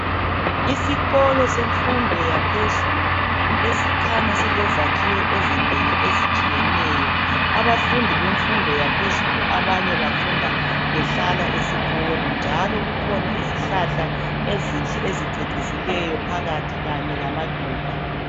Isikolo semfundo yaphezulu ekhanya ilezakhiwo ezinengi ezitshiyeneyo abafundi bemfundo yaphezulu abanye bafunda behlala esikolo njalo kukhona izihlahla ezinhle ezicecisileyo phakathi kanye lamaluba